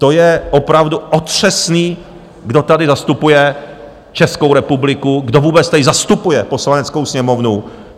To je opravdu otřesný, kdo tady zastupuje Českou republiku, kdo vůbec tady zastupuje Poslaneckou sněmovnu.